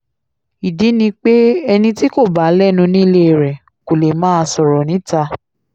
ìdí ni pé ẹni tí kò bá lẹ́nu nílé rẹ̀ kò lè máa sọ̀rọ̀ níta